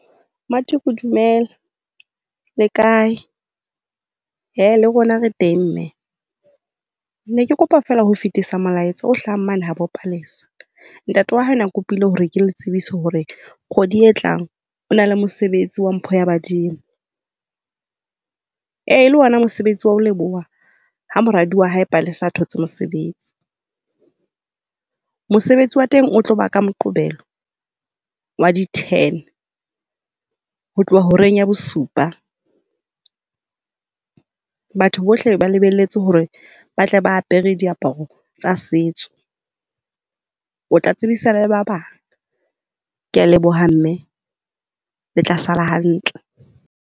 Matshokgo Dumela, le kae? Ee, le rona re teng, mme. Ke ne ke kopa fela ho fitisa molaetsa o hlahang mane habo Palesa. Ntate wa hae o ne a kopile hore ke le tsebisa hore kgwedi e tlang o na le mosebetsi wa mpho ya badimo. E le ona mosebetsi wa ho leboha ha moradi wa hae Palesa a thotse mosebetsi. Mosebetsi wa teng o tlo ba ka Moqebelo, wa di-ten, ho tloha horeng ya bosupa. Batho bohle ba lebelletwe hore ba tle ba apere diaparo tsa setso. O tla tsebisa le ba bang. Ke a leboha, mme. Le tla sala hantle.